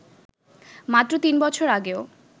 মাত্র তিন বছর আগেও